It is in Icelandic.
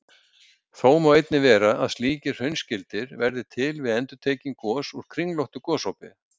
Þó má einnig vera að slíkir hraunskildir verði til við endurtekin gos úr kringlóttu gosopi.